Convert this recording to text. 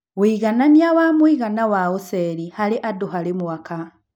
Wuiganania wa mũigana wa Ũceri harĩ andũ harĩ mwaka